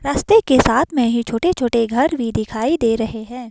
रास्ते के साथ में ही छोटे-छोटे घर भी दिखाई दे रहे हैं।